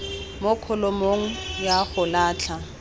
mo kholomong ya go latlha